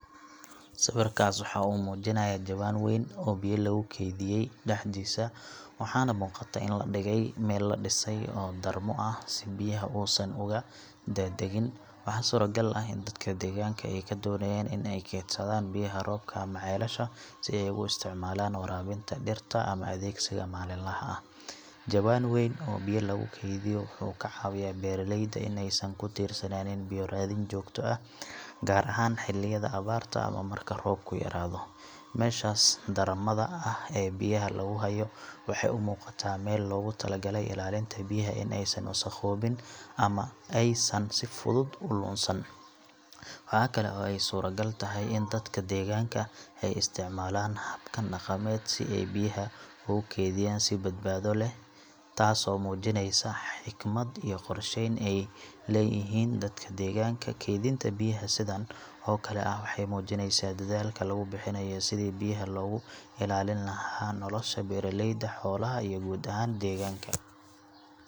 Sawirkaas waxa uu muujinayaa jawaan weyn oo biyo lagu kaydiyay dhexdiisa, waxaana muuqata in la dhigay meel la dhisay oo darmo ah si biyaha uusan uga daadagin. Waxaa suuragal ah in dadka deegaanka ay doonayaan in ay kaydsadaan biyaha roobka ama ceelasha si ay ugu isticmaalaan waraabinta dhirta ama adeegsiga maalinlaha ah. Jawaan weyn oo biyo lagu kaydiyo wuxuu ka caawiyaa beeraleyda in aysan ku tiirsanaan biyo raadin joogto ah, gaar ahaan xilliyada abaarta ama marka roobku yaraado. Meeshaas darmada ah ee biyaha lagu hayo waxay u muuqataa meel loogu talagalay ilaalinta biyaha in aysan wasakhoobin ama aysan si fudud u lunsan. Waxa kale oo ay suuragal tahay in dadka deegaanka ay isticmaalaan habkan dhaqameed si ay biyaha ugu kaydiyaan si badbaado leh, taasoo muujinaysa xikmad iyo qorsheyn ay leeyihiin dadka deegaanka. Kaydinta biyaha sidan oo kale ah waxay muujinaysaa dadaalka lagu bixinayo sidii biyaha loogu ilaalin lahaa nolosha beeraleyda, xoolaha iyo guud ahaan deegaanka.